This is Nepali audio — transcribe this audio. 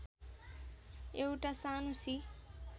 एउटा सानो सी